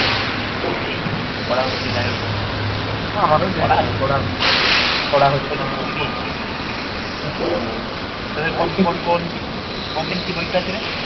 এই পড়া হচ্ছে যাইহোক কিছুতো পড়িনাই কিরে hello এই কোন কোন কোনদিন কি পরীক্ষা আছেরে